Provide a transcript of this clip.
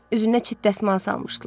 Üzünə çit dəsmal salmışdılar.